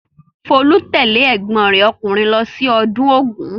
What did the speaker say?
Folú tẹ̀lé ẹ̀gbọ́n rẹ̀ ọkùnrin lọ sí ọdún Ògún?